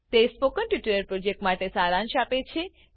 તે spoken tutorial પ્રોજેક્ટનો સારાંશ આપે છે